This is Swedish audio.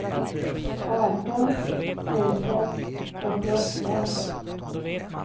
arton tusen trettioåtta